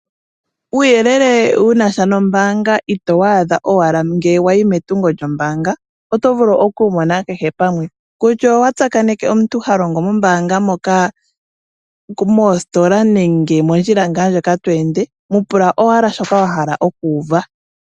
Uuyelele wuna sha noombanga ito wu adha owala ngele wayi metungo lyombaanga, otovulu okuwumona kehe pamwe kusha owa tsakaneke omuntu halongo mombaanga moka, moositola nenge mondjila ngaa ndjoka to ende muupula owala shoka wahala okuuva.